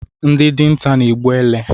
Ndị dinta na-egbu ele